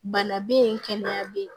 Bana bɛ yen kɛnɛya bɛ yen